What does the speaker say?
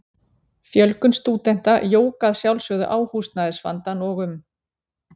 Fjölgun stúdenta jók að sjálfsögðu á húsnæðisvandann og um